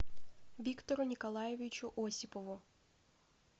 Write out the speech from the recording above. виктору николаевичу осипову